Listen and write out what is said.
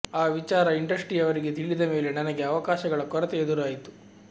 ಆ ವಿಚಾರ ಇಂಡಸ್ಟ್ರಿಯವರಿಗೆ ತಿಳಿದ ಮೇಲೆ ನನಗೆ ಅವಕಾಶಗಳ ಕೊರತೆ ಎದುರಾಯಿತು